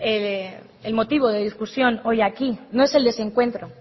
el motivo de discusión hoy aquí no es el desencuentro